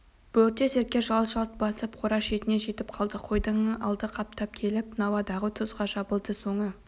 бөрте серке жалт-жалт басып қора шетіне жетіп қалды қойдың алды қаптап келіп науадағы тұзға жабылды соңы